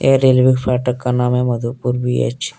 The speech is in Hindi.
रेलवे फाटक का नाम है मधुपुर बी_अच ।